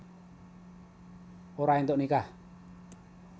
Ora éntuk nikah